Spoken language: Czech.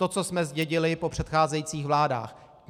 To, co jsme zdědili po předcházejících vládách.